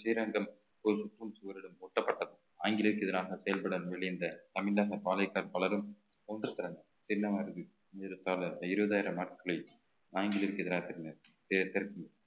ஸ்ரீரங்கம் ஒரு முட்டும் சுவரிலும் ஒட்டப்பட்டது ஆங்கிலேயருக்கு எதிராக செயல்பட முயன்ற தமிழக பாளையகார் பலரும் ஒன்று திரண்டு இருபதாயிரம் நாட்களில் ஆங்கிலத்திற்கு எதிராக